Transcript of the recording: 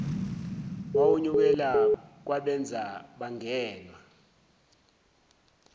wawunyukela kwabenza bangenwa